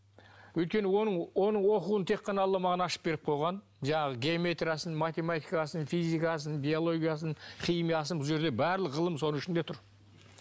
өйткені оның оқуын тек қана алла маған ашып беріп қойған жаңағы геометриясын математикасын физикасын биологиясын химиясын бұл жерде барлық ғылым соның ішінде тұр